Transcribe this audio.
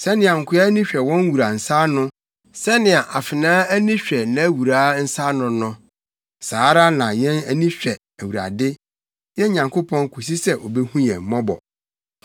Sɛnea nkoa ani hwɛ wɔn wura nsa no, sɛnea afenaa ani hwɛ nʼawuraa nsa no no, saa ara na yɛn ani hwɛ Awurade, yɛn Nyankopɔn kosi sɛ obehu yɛn mmɔbɔ.